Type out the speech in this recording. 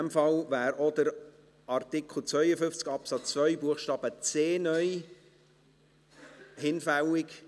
Damit wäre auch Artikel 52 Absatz 2 Buchstabe c (neu) hinfällig.